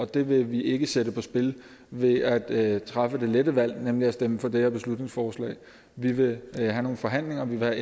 det vil vi ikke sætte på spil ved at træffe det lette valg nemlig at stemme for det her beslutningsforslag vi vil have nogle forhandlinger vi vil